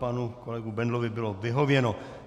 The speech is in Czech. Panu kolegovi Bendlovi bylo vyhověno.